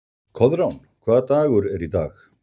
Koðrán, hvaða dagur er í dag?